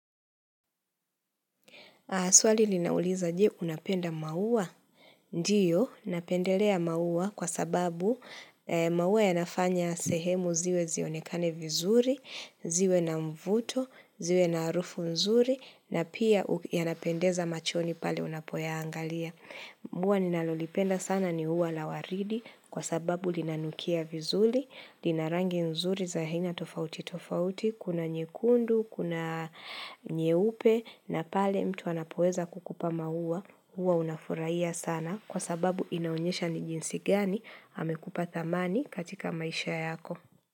Swali linauliza, je unapenda maua. Ndiyo, napendelea maua kwa sababu maua yanafanya sehemu ziwe zionekane vizuri, ziwe na mvuto, ziwe na harufu nzuri, na pia yanapendeza machoni pale unapoyaangalia. Ua ninalolipenda sana ni ua la waridi kwa sababu linanukia vizuri, linarangi nzuri za aina tofauti tofauti, kuna nyekundu, kuna nyeupe na pale mtu anapoeza kukupa maua, huwa unafurahia sana kwa sababu inaonyesha ni jinsi gani amekupa thamani katika maisha yako.